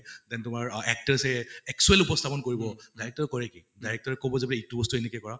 then তোমাৰ অ actors য়ে actually উপস্থাপন কৰিব। director ৰে কৰে কি, director ৰে কʼব যে এইটো বস্তু এনেকে কৰা